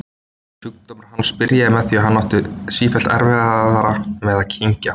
Sjúkdómur hans byrjaði með því að hann átti sífellt erfiðara með að kyngja.